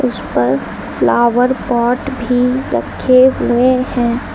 इस पर flower pot भी रखे हुए हैं।